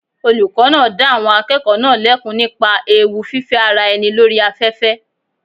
Olùkọ́ náà dá àwọn akẹ́kọ̀ọ́ náà lẹ́kun nípa àwọn ewu fífẹ́ ara ẹni lórí afẹ́fẹ́.